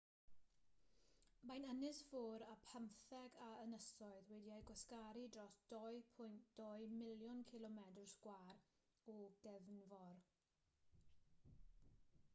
mae'n ynysfor â phymtheg o ynysoedd wedi'u gwasgaru dros 2.2 miliwn cilomedr sgwâr o gefnfor